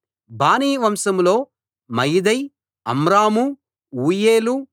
బానీ వంశంలో మయదై అమ్రాము ఊయేలు